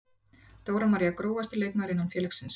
Dóra María Grófasti leikmaður innan félagsins?